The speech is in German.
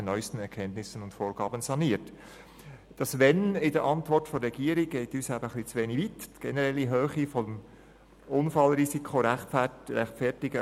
Zuerst erachteten wir von der EVP die Ausführungen des Regierungsrats als schlüssig.